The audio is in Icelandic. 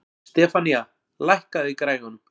Stefanía, lækkaðu í græjunum.